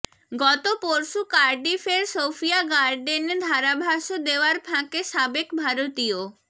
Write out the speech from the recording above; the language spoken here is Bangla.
গত পরশু কার্ডিফের সোফিয়া গার্ডেনে ধারাভাষ্য দেওয়ার ফাঁকে সাবেক ভারতীয়